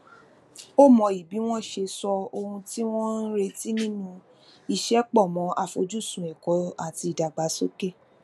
ó mọyì bí wọn ṣe so ohun tí wọn ń retí ninu iṣẹ pọ mọ afojsun ẹkọ ati idagbasoke